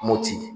Moti